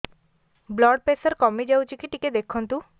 blood pressure କମି ଯାଉଛି କି ଟିକେ ଦେଖନ୍ତୁ